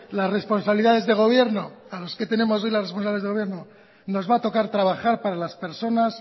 las responsabilidades de gobierno nos va a tocar trabajar para las personas